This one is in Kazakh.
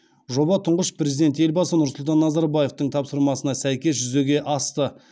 жоба тұңғыш президент елбасы нұрсұлтан назарбаевтың тапсырмасына сәйкес жүзеге асты